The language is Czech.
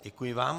Děkuji vám.